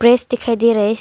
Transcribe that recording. Press दिखाई दे रहा है।